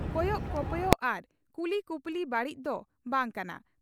ᱠᱚᱭᱚᱜ ᱠᱚᱯᱚᱭᱚᱜ ᱟᱨ ᱠᱩᱞᱤ ᱠᱩᱯᱩᱞᱤ ᱵᱟᱹᱲᱤᱡ ᱫᱚ ᱵᱟᱝ ᱠᱟᱱᱟ ᱾